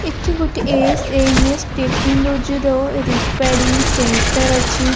ଏଠି ଗୋଟେ SMS technology ର ରିପେୟାରିଙ୍ଗ ସେଣ୍ଟର ଅଛି ।